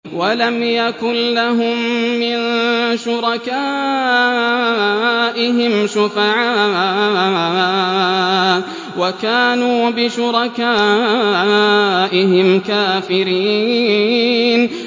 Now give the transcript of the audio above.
وَلَمْ يَكُن لَّهُم مِّن شُرَكَائِهِمْ شُفَعَاءُ وَكَانُوا بِشُرَكَائِهِمْ كَافِرِينَ